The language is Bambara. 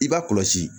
I b'a kɔlɔsi